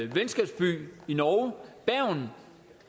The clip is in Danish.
venskabsby i norge bergen